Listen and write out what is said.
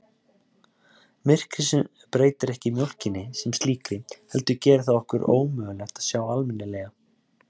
Myrkrið breytir ekki mjólkinni sem slíkri heldur gerir það okkur ómögulegt að sjá almennilega.